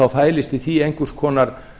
fælist í því einhvers konar